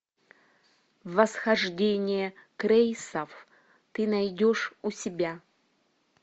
восхождение крэйсов ты найдешь у себя